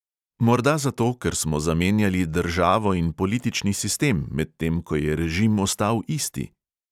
Morda zato, ker smo zamenjali državo in politični sistem, medtem ko je režim ostal isti?